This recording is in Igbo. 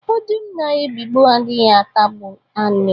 Ọdụm na-ebigbọ adịghị atagbute anụ